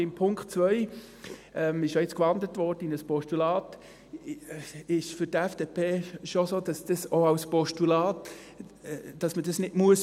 Bei Punkt 2, er wurde ja jetzt in ein Postulat gewandelt, ist es für die FDP schon so, dass man das auch nicht als Postulat prüfen muss.